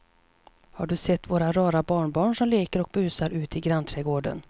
Har du sett våra rara barnbarn som leker och busar ute i grannträdgården!